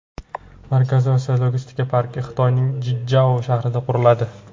Markaziy Osiyo logistika parki Xitoyning Jichjao shahrida quriladi.